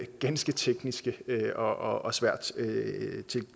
ganske tekniske og svært